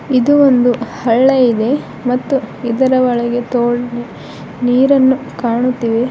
ಇದು ಒಂದು ಹಳ್ಳಿ ಇದೆ ಮತ್ತು ಇದರ ಒಳಗೆ ತೋ ನೀರನ್ನು ಕಾಣುತ್ತಿವೆ.